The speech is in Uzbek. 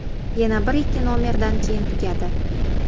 Yana bir-ikki nomerdan keyin tugadi.